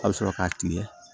A bɛ sɔrɔ k'a kile